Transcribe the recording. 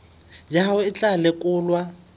ya hao e tla lekolwa